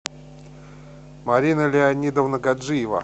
марина леонидовна гаджиева